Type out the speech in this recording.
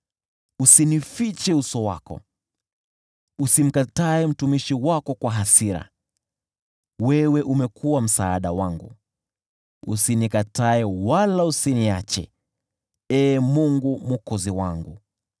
Usinifiche uso wako, usimkatae mtumishi wako kwa hasira; wewe umekuwa msaada wangu. Usinikatae wala usiniache, Ee Mungu Mwokozi wangu.